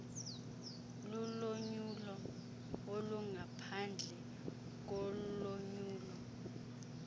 lulonyulo olungaphandle kolonyulo